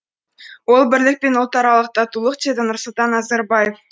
ол бірлік пен ұлтаралық татулық деді нұрсұлтан назарбаев